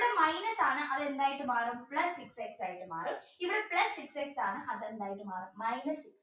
minus ആണ് അത് എന്തായിട്ടും മാറും plus six x ആയിട്ട് മാറും ഇവിടെ plus six x ആണ് അത് എന്തായിട്ടും മാറും minus